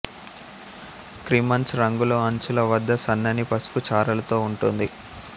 crimson రంగులో అంచుల వద్ద సన్నని పసుపు చారలతో ఉంటుంది